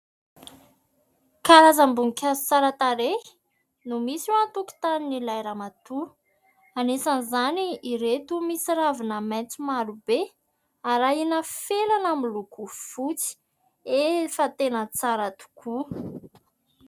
Karazam-boninkazo tsara tarehy no misy ao an-tokotanin'ilay ramatoa, anisan'izany ireto misy ravina maitso maro be arahina felana miloko fotsy, efa tena tsara tokoa !